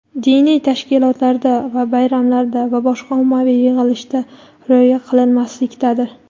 diniy tashkilotlarda va bayramlarda va boshqa ommaviy yig‘ilishda rioya qilinmaslikdadir.